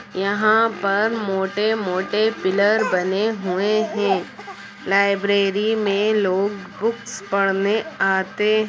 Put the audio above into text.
यहाँ पर मोटे-मोटे पिलर बने हुए हैं। लाइब्रेरी में लोग बुक्स पढ़ने आते --